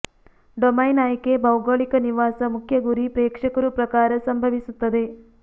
domain ಆಯ್ಕೆ ಭೌಗೋಳಿಕ ನಿವಾಸ ಮುಖ್ಯ ಗುರಿ ಪ್ರೇಕ್ಷಕರು ಪ್ರಕಾರ ಸಂಭವಿಸುತ್ತದೆ